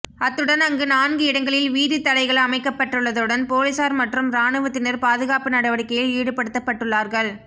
அத்துடன் அங்கு நான்கு இடங்களில் வீதித் தடைகள் அமைக்கப்பட்டுள்ளதுடன் பொலிஸார் மற்றும் இராணுவத்தினர் பாதுகாப்பு நடவடிக்கையில் ஈடுபடுத்தப்பட்டுள்ளார்கள்